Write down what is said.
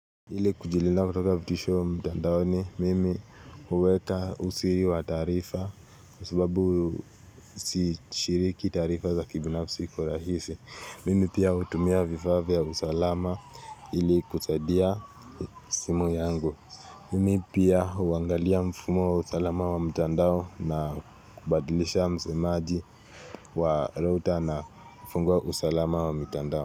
Ili kujilinda kutoka vitisho wa mtandaoni mimi huweka usiri wa tarifa Kwa sababu si shiriki taarifa za kibinafsi kwa rahisi Mimi pia hutumia vifaa vya usalama ili kusaidia simu yangu Mimi pia huangalia mfumo wa usalama wa mtandao na kubadlisha msemaji wa router na kufungua usalama wa mmtandao.